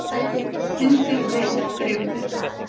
Hundur beit bréfbera